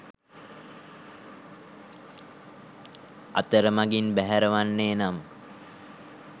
අතරමගින් බැහැර වන්නේ නම්